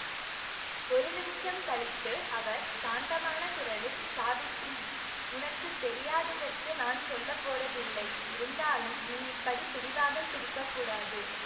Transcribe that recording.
ஒரு நிமிஷம் கழித்து அவர் சாந்தமான குரலில் சாவித்திரி உனக்கு தெரியாததற்கு நான் சொல்ல போறதில்லை இருந்தாலும் நீ இப்படி பிடிவாதம் பிடிக்க கூடாது